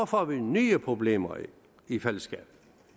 får vi nye problemer i fællesskabet